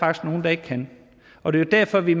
er nogen der ikke kan og det er derfor vi